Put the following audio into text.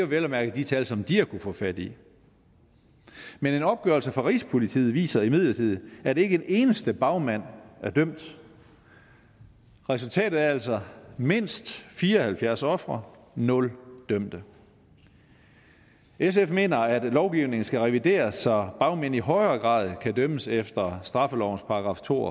vel at mærke de tal som de har kunnet få fat i men en opgørelse fra rigspolitiet viser imidlertid at ikke en eneste bagmand er dømt resultatet er altså mindst fire og halvfjerds ofre nul dømte sf mener at lovgivningen skal revideres så bagmænd i højere grad kan dømmes efter straffelovens § to